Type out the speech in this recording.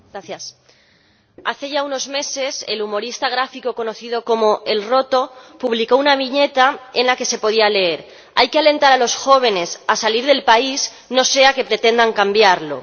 Señora Presidenta, hace ya unos meses, el humorista gráfico conocido como El Roto publicó una viñeta en la que se podía leer Hay que alentar a los jóvenes a salir del país, no sea que pretendan cambiarlo..